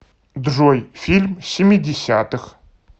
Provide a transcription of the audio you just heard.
джой фильм семидесятых